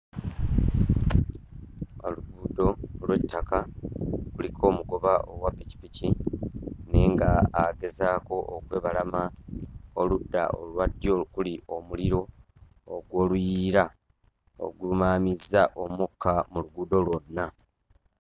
Oluguudo lw'ettaka, kuliko omugoba owa pikipiki naye nga agezaako okwebalama oludda olwa ddyo okuli omuliro ogw'oluyiira ogumaamizza omukka mu luguudo lwonna.